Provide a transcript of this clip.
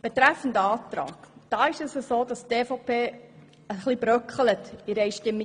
Betreffend Abänderungsantrag bröckelt die Einstimmigkeit der EVP-Fraktion etwas.